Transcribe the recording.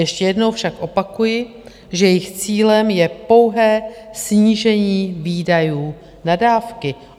Ještě jednou však opakuji, že jejich cílem je pouhé snížení výdajů na dávky.